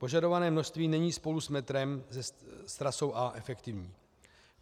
Požadované množství není spolu s metrem, s trasou A, efektivní.